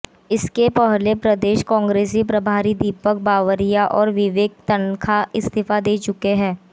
इसके पहले प्रदेश कांग्रेस प्रभारी दीपक बावरिया और विवेक तन्खा इस्तीफा दे चुके हैं